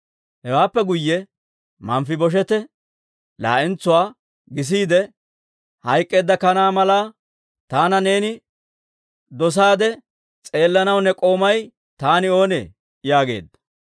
Hewaappe guyye Manfibosheete laa'entsuwaa gisiide, «Hayk'k'eedda kanaa malaa taana neeni dosaade s'eellanaw, ne k'oomay taani oonee?» yaageedda.